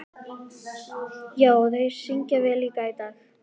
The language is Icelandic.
Já, og þeir syngja líka vel í dag.